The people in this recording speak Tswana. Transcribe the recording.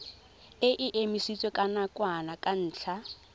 e emisitswe nakwana ka ntlha